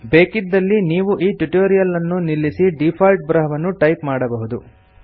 ಬೇಕಿದ್ದಲ್ಲಿ ನೀವು ಈ ಟ್ಯುಟೋರಿಯಲ್ ಅನ್ನು ನಿಲ್ಲಿಸಿ ಡೀಫಾಲ್ಟ್ ಬರಹವನ್ನು ಟೈಪ್ ಮಾಡಬಹುದು